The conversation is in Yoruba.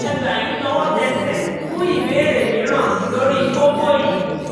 a gbà yín tọwọ́tẹsẹ̀ fún ìbéèrè mìíràn lórí kókó yìí